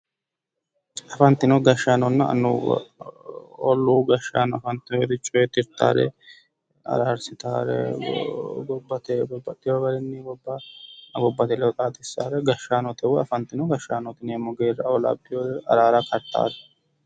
afantino gashshaanonna annuwa olluu gashshaano afantinori coyi tirtahore araarsitahore babbaxxino garinni gobbate ledo xaadisaare afantino gashshaano woyi gashshaanote yinayi geera labbinore araara kartaare.